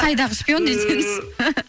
қайдағы шпион десеңіз